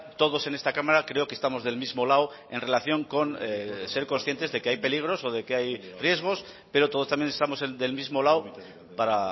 todos en esta cámara creo que estamos del mismo lado en relación con ser conscientes de que hay peligros o de que hay riesgos pero todos también estamos del mismo lado para